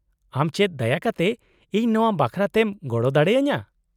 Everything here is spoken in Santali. -ᱟᱢ ᱪᱮᱫ ᱫᱟᱭᱟ ᱠᱟᱛᱮ ᱤᱧ ᱱᱚᱶᱟ ᱵᱟᱠᱷᱨᱟ ᱛᱮᱢ ᱜᱚᱲᱚ ᱫᱟᱲᱮ ᱟᱹᱧᱟᱹ ?